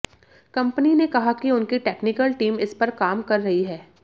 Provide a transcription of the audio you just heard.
company ने कहा कि उनकी टेक्निकल टीम इस पर काम कर रही है